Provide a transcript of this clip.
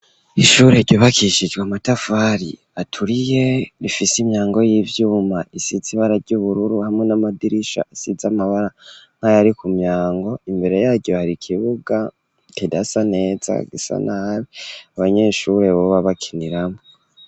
Ishure ryubakishijwe amatafari aturiye rifise imyango y'ivyuma isize ibara ry'ubururu hamwe n'amadirisha asize amabara nkayari ku myango, imbere yaryo hari ikibuga kidasa neza gisa nabi ababanyeshuri boba bakiniramwo.